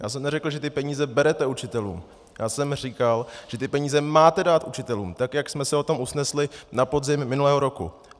Já jsem neřekl, že ty peníze berete učitelům, já jsem říkal, že ty peníze máte dát učitelům, tak jak jsme se na tom usnesli na podzim minulého roku.